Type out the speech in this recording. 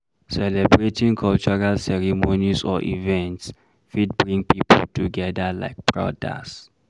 Celebrating cultural ceremonies or events fit bring pipo together like brothers